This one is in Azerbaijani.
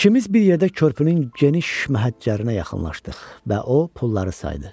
İkimiz bir yerdə körpünün geniş məhəccərinə yaxınlaşdıq və o pulları saydı.